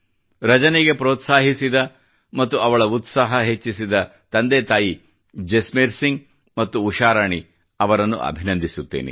ರಜನಿಗೆ ಪ್ರೋತ್ಸಾಹಿಸಿದ ಮತ್ತು ಅವಳ ಉತ್ಸಾಹ ಹೆಚ್ಚಿಸಿದ ತಂದೆ ತಾಯಿ ಜಸ್ಮೇರ್ ಸಿಂಗ್ ಮತ್ತು ಉಷಾರಾಣಿ ಅವರನ್ನು ಅಭಿನಂದಿಸುತ್ತೇನೆ